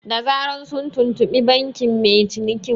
Da zaran sun tuntuɓi bankin mai cinikin